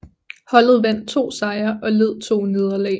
Holdet vandt to sejre og led to nederlag